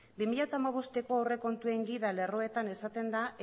bi mila hamabosteko aurrekontuen gida lerroetan esaten da